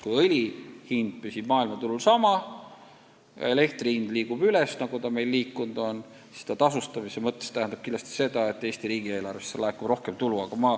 Kui õli hind püsib maailmaturul sama ja elektri hind liigub üles, nagu ta meil liikunud on, siis keskkonnatasu saamise mõttes tähendab see kindlasti seda, et Eesti riigieelarvesse laekub rohkem tulu.